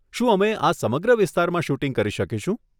શું અમે આ સમગ્ર વિસ્તારમાં શૂટિંગ કરી શકીશું?